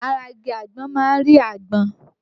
Ara igi àgbọn má ń rí àgbọn